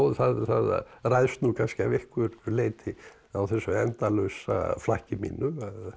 það ræðst nú kannski að einhverju leyti á þessu endalausa flakki mínu